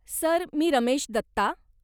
Sir, मी रमेश दत्ता.